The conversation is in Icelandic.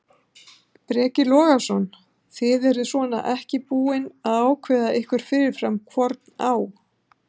Breki Logason: Þið eruð svona ekki búin að ákveða ykkur fyrirfram hvorn á?